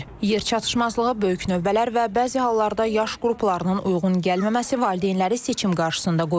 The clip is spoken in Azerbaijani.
Yer çatışmazlığı, böyük növbələr və bəzi hallarda yaş qruplarının uyğun gəlməməsi valideynləri seçim qarşısında qoyur.